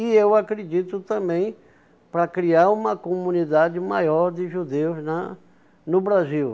E eu acredito também para criar uma comunidade maior de judeus na no Brasil.